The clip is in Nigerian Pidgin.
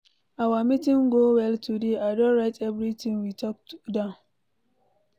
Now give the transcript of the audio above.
Our meeting go well today, I don write everything we talk down.